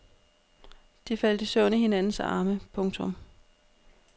De faldt i søvn i hinandens arme. punktum